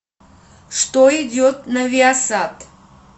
что идет на виасат